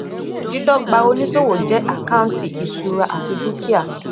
dídọgba oníṣòwò jẹ àkántì ìṣura àti dúkìá